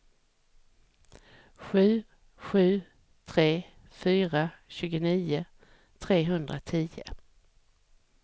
sju sju tre fyra tjugonio trehundratio